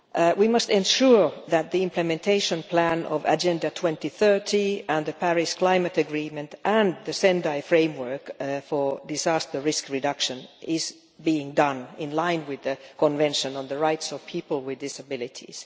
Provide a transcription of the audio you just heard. We must ensure that the implementation plan of Agenda 2030, the Paris climate agreement and the Sendai Framework for Disaster Risk Reduction is being carried out in line with the Convention on the Rights of Persons with Disabilities.